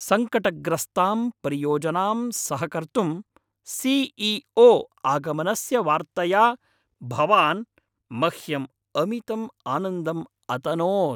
सङ्कटग्रस्तां परियोजनां सहकर्तुं सि.ई.ओ. आगमनस्य वार्तया भवान् मह्यम् अमितम् आनन्दम् अतनोत्!